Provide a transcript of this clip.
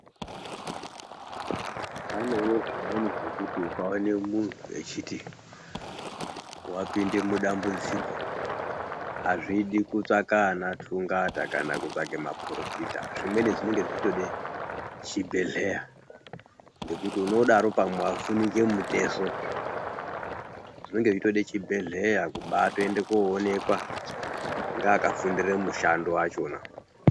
Panevo zvimweni zvekuti ukaone muntu echiti apinde mudambudziko hazvidi kutsvaka anatungata kana kutsvage maporofita. Zvimweni zvinonge zvichitode chibhedhleya ngekuti unodaro pamwe vavhunike mutezo zvinonge zveitode chibhedhleya kubatoende koonekwa ndeakafundire mushando vachona.